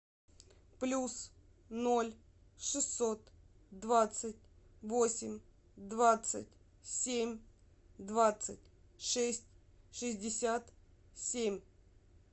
плюс ноль шестьсот двадцать восемь двадцать семь двадцать шесть шестьдесят семь